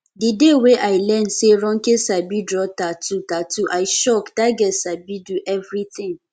the day wey i learn say ronke sabi draw tattoo tattoo i shock dat girl sabi do everything